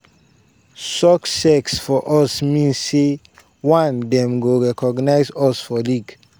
"success for us mean say one dem go recognize us as league.